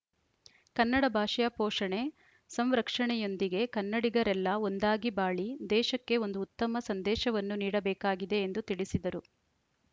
ಕನ್ನಡ ಭಾಷೆಯ ಪೋಷಣೆ ಸಂರಕ್ಷಣೆಯೊಂದಿಗೆ ಕನ್ನಡಿಗರೆಲ್ಲ ಒಂದಾಗಿ ಬಾಳಿ ದೇಶಕ್ಕೆ ಒಂದು ಉತ್ತಮ ಸಂದೇಶವನ್ನು ನೀಡಬೇಕಾಗಿದೆ ಎಂದು ತಿಳಿಸಿದರು